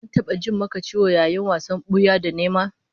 An taba ji maka ciwo yayin wasan buya da nema?